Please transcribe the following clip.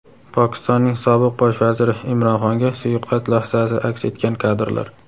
Pokistonning sobiq Bosh vaziri Imron Xonga suiqasd lahzasi aks etgan kadrlar.